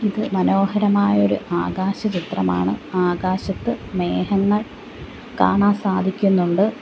ഇത് മനോഹരമായ ഒരു ആകാശ ചിത്രമാണ് ആകാശത്ത് മേഘങ്ങൾ കാണാൻ സാധിക്കുന്നുണ്ട്.